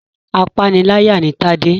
Apániláyà ni Tade.